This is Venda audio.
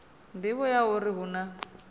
nḓivho ya uri hu na